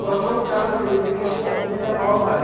প্ৰথম কালত তেওঁলোকে কিছু অসুবিধা পাব পাৰে